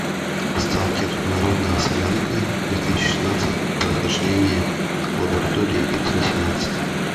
сталкер народная солянка две тысячи шестнадцать прохождение лаборатории икс восемнадцать